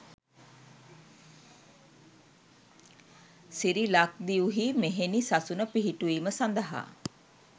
සිරි ලක්දිව්හි මෙහෙණි සසුන පිහිටුවීම සඳහා